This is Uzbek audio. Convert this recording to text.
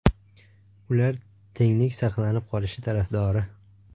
Ular tenglik saqlanib qolishi tarafdori.